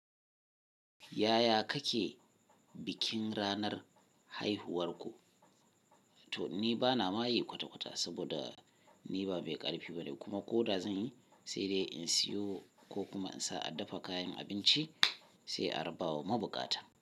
Yaya kake bikin ranar haihuwar ku? To ni bana ma yi kwata-kwata saboda ni ba mai ƙarfi bane kuma ko da zan yi sai dai in siyo ko kuma in sa a dafa kayan abinci sai a raba wa mabukata.